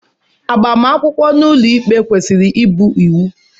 Agbamakwụkwọ n'ụlọ ikpe kwesịrị ịbụ iwu.